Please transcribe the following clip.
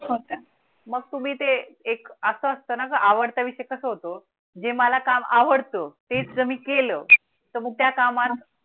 मग तुम्ही ते एक असं असताना आवडता विषय कसा होतो? जे मला काम आवडतं तेच तुम्ही केलं तर मग त्या कामात